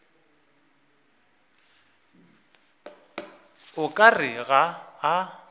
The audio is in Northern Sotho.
o ka re ga a